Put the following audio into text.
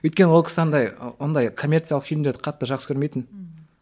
өйткені ол кісі андай ондай коммерциялық фильмдерді қатты жақсы көрмейтін ммм